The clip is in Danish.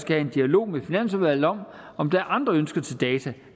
have en dialog med finansudvalget om om der er andre ønsker til data